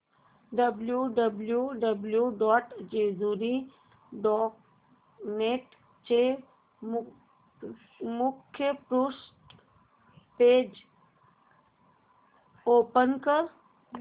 W W W dot Jejuri dot net चे मुखपृष्ठ page open कर